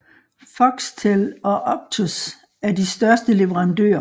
Foxtel og Optus er de største leverandører